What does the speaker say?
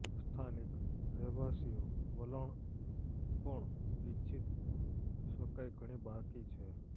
સ્થાનિક રહેવાસીઓ વલણ પણ ઇચ્છિત શકાય ઘણી બાકી છે